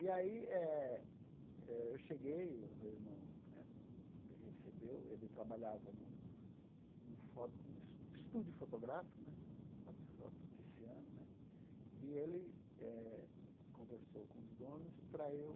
E aí eh eu cheguei, o meu irmão né me recebeu, ele trabalhava num foto num es estúdio fotográfico, fototiciano né, e ele eh conversou com os donos para eu